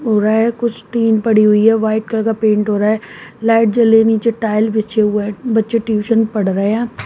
हो रहा है कुछ टीन पड़ी हुई है वाइट कलर का पेंट हो रहा है लाइट जल रही है नीचे टाइल बिछे हुए हैं बच्चे ट्यूशन पढ़ रहे हैं।